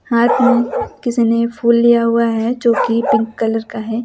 हाथ में किसने फूल लिया हुआ है जोकि पिंक कलर का है।